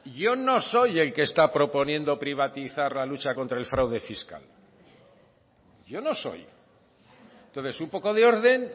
yo no soy el que está proponiendo privatizar la lucha contra el fraude fiscal yo no soy entonces un poco de orden